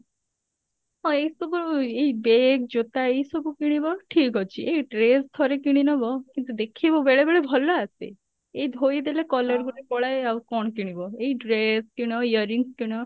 ହଁ ଏଇ ସବୁ ଏଇ bag ଜୋତା ଏଇସବୁ କିଣିବ ଠିକ ଅଛି ଏଇ dress ଥରେ କିଣିନବ କିନ୍ତୁ ଦେଖିବୁ ବେଳେ ବେଳେ ଭଲ ଆସେ ଏଇ ଧୋଇଦେଲେ colour ଗୁଡା ପଳାଏ ଆଉ କଣ କିଣିବ ଏଇ dress କିଣ earings କିଣ